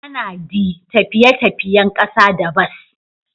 ana d tafiye-tafiyen kasa da bas.